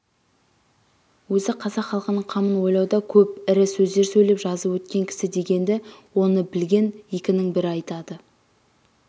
өзі қазақ халқының қамын ойлауда көп ірі сөздер сөйлеп жазып өткен кісі дегенді оны білген екінің бірі айтады